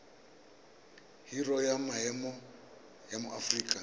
biro ya maemo ya aforika